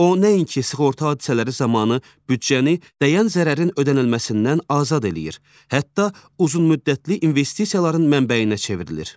O nəinki sığorta hadisələri zamanı büdcəni dəyən zərərin ödənilməsindən azad eləyir, hətta uzunmüddətli investisiyaların mənbəyinə çevrilir.